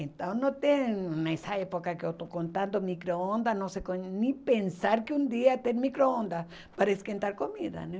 Então não tem, nessa época que eu estou contando, micro-ondas, não sei nem pensar que um dia tem micro-ondas para esquentar comida, né?